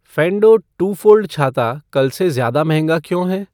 फे़ेंडो two fold छाता कल से ज्यादा महंगा क्यों है